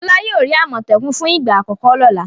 Fọlá yóò rí àmọ̀tẹ́kùn fún ìgbà àkọ́kọ́ lọ́la.